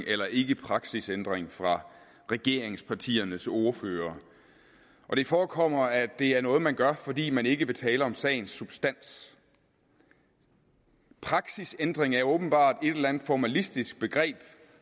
eller ikke praksisændring fra regeringspartiernes ordførere og det forekommer mig at det er noget man gør fordi man ikke vil tale om sagens substans praksisændring er åbenbart et eller andet formalistisk begreb